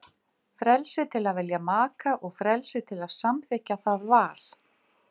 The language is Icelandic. Frelsi til að velja maka og frelsi til að samþykkja það val.